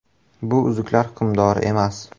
“Bu ‘Uzuklar hukmdori’ emas.